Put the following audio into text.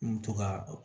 N mi to ka